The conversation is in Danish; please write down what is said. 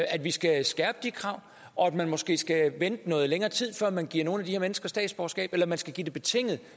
vi skal skærpe de krav og at man måske skal vente i noget længere tid før man giver nogle af de her mennesker statsborgerskab eller at man skal give det betinget